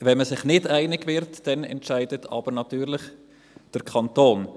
Wenn man sich nicht einig wird, entscheidet jedoch der Kanton.